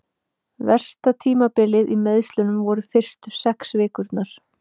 Versta tímabilið í meiðslunum voru fyrstu sex vikurnar.